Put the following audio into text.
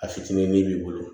A fitinin min b'i bolo